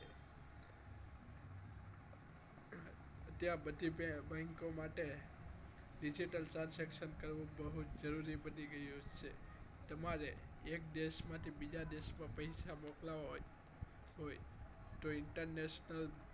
અત્યારે બધી bank માં માટે digital transaction કરવું બહુ જ જરૂરી બની ગયું છે તમારે એક દેશમાંથી બીજા દેશમાં પૈસા મોકલવા હોય તો international